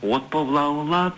от боп лаулап